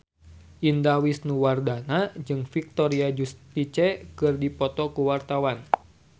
Indah Wisnuwardana jeung Victoria Justice keur dipoto ku wartawan